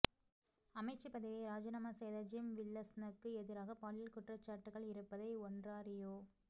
அமைச்சு பதவியை இராஜினாமா செய்த ஜிம் வில்ஸனுக்கு எதிரான பாலியல் குற்றச்சாட்டுக்கள் இருப்பதை ஒன்ராறியோ